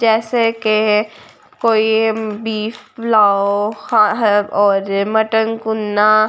जैसे के कोई बीफ प्लाओ और मटन कुन्ना --